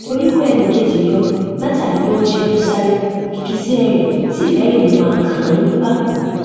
orí kó ẹnì kejì yọ látàrí bí wọn ṣe lọ sáré gìgísẹ rẹ sí fẹrẹ lè máa kàn án nípàkọ